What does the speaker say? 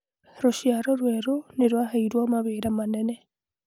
Rũciaro rwerũ nĩ rwaheirũo mawĩra manene.